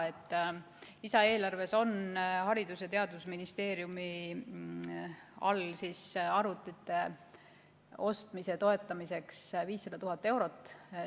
Lisaeelarves on Haridus- ja Teadusministeeriumi all arvutite ostmise toetamiseks 500 000 eurot.